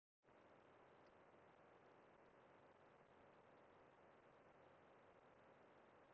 Í þessu fyrsta atriði þáttarins sést í skip fyrir enda götunnar.